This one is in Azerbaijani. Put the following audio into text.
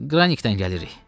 Qranikdən gəlirik.